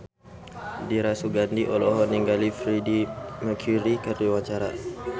Dira Sugandi olohok ningali Freedie Mercury keur diwawancara